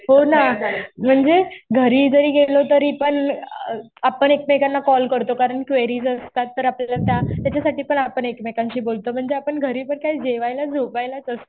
हो ना. म्हणजे घरी जरी गेलो तरी पण आपण एकमेकांना कॉल करतो. कारण क्वेरीज असतात तर आपल्याला त्या त्याच्यासाठी पण आपण एकमेकांशी बोलतो. म्हणजे आपण घरी तर काय जेवायला, झोपायलाच असतो.